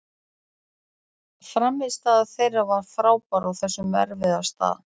Frammistaða þeirra var frábær á þessum erfiða stað.